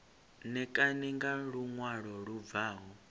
ṋekane nga luṅwalo lu bvaho